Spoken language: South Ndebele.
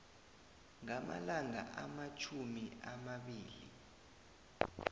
ngamalanga amatjhumi amabili